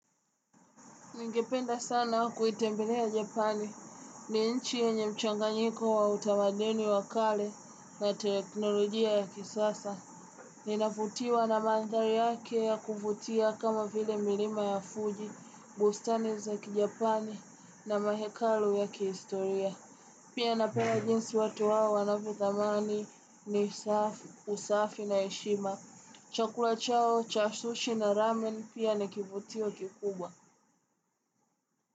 Ningependa sana kuitembelea Japani. Ni inchi yenye mchanganyiko wa utamadeni wa kale na teknolojia ya kisasa. Ninavutiwa na mandari yake ya kufutia kama file milima ya Fuji, bustani za kijapani na mahekalu ya kihistoria. Pia na pena jinsi watu wawo wanavyodhamani ni usafi na eshima. Chakula chao, cha sushi na ramen pia ni kivutio kikubwa.